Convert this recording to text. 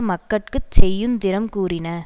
மக்கட்குச் செய்யுந் திறம் கூறின